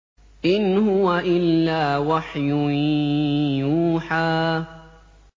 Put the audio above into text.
إِنْ هُوَ إِلَّا وَحْيٌ يُوحَىٰ